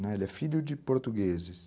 Ele é filho de portugueses.